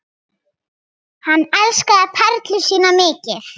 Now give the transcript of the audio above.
Hann elskaði Perlu sína mikið.